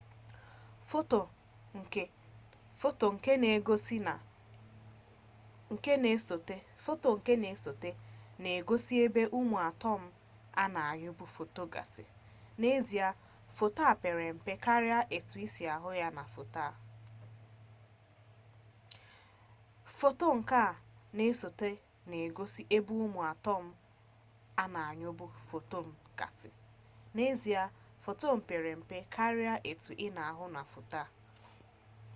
foto nke na-esote na-egosie ebe ụmụ atọm a na-anyụpụ fotọn gasị n'ezie fotọn pere mpe karịa etu i si ahụ na foto a